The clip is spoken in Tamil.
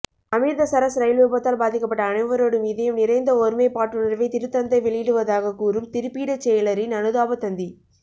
அமிர்தசரஸ் இரயில் விபத்தால் பாதிக்கப்பட்ட அனைவரோடும் இதயம் நிறைந்த ஒருமைப்பாட்டுணர்வை திருத்தந்தை வெளியிடுவதாகக் கூறும் திருப்பீடச் செயலரின் அனுதாபத் தந்தி